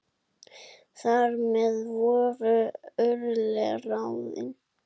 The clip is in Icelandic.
Þar með voru örlög ráðin.